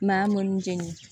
Maa mɔnni jɛnɲɛnen